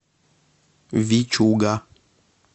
вичуга